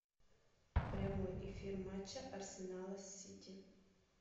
прямой эфир матча арсенала с сити